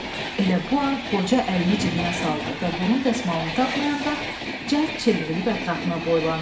Elə bu an qoca əlini cibinə saldı və burun dəsmalını tapmayanda cəld çevrilib ətrafına boylandı.